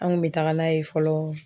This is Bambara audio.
An kun be taga n'a ye fɔlɔ